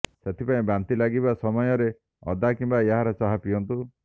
ସେଥିପାଇଁ ବାନ୍ତି ଲାଗିବା ସମୟରେ ଅଦା କିମ୍ୱା ଏହାର ଚାହା ପିଅନ୍ତୁ